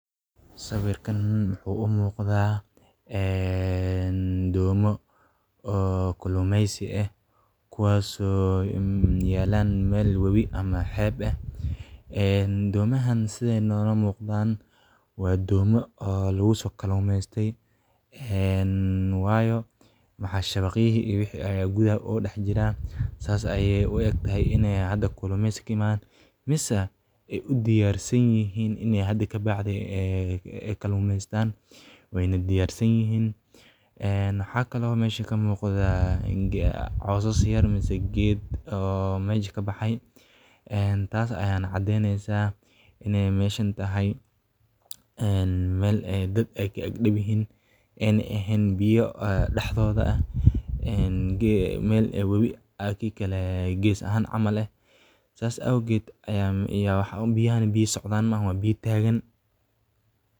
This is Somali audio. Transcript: Sawirkan wuxuu u muuqdaa doomo kalluumeysi ah, kuwaas oo yaalla meel wabi ama xeeb ah. Doomahan sida nala muuqata waa doomo lagu soo kalluumaystay, waayo shabaqyadii iyo wixii la mid ah ayaa gudaha ugu daadsan. Sidaas ayay ugu egyihiin in ay hadda kalluumeysi ay ka yimaadeen mise ay u diyaar yihiin in ay hadda ka dib ay kalluumaystaan. Wayna diyaar yihiin. Waxaa kale oo meesha ka muuqda caws yar ama geedo meesha ka baxaya. Taasna waxay caddeyneysaa in meeshaan ay tahay meel dadka ag dhow yihiin, ayna ahayn biyo dhexdeeda, meel wabi gees ahaan ah camal. Saas awgeed, biyahan biyo socda ma aha, waa biyo taagan.